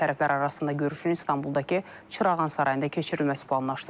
Tərəflər arasında görüşün İstanbuldakı Çırağan Sarayında keçirilməsi planlaşdırılır.